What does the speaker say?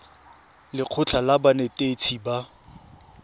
le lekgotlha la banetetshi ba